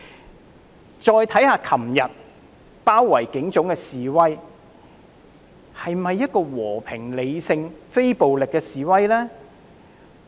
我們再看看昨天包圍警總的示威，這是否和平、理性、非暴力的示威呢？